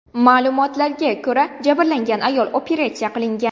Ma’lumotlarga ko‘ra, jabrlangan ayol operatsiya qilingan.